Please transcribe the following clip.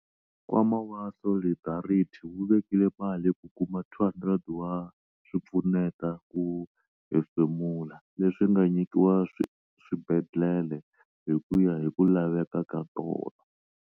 Nkwama wa Solidarity wu vekile mali ku kuma 200 wa swipfuneta ku hemfemula, leswi nga nyikiwa swibedhlele hi ku ya hi ku laveka ka tona.